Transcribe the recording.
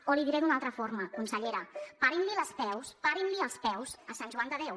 o l’hi diré d’una altra forma consellera parin els peus parin els peus a sant joan de déu